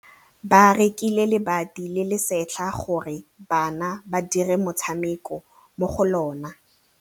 Ba rekile lebati le le setlha gore bana ba dire motshameko mo go lona.